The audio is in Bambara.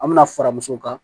An bɛna fara muso kan